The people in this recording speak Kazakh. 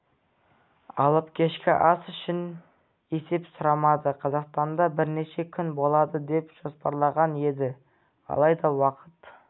алып кешкі ас үшін есеп сұрамады қазақстанда бірнеше күн болады деп жоспарланған еді алайда уақыт